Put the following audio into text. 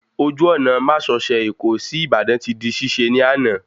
Ojú ọ̀nà másosẹ̀ Èkó sí Ìbàdàn ti di ṣíṣe ní àná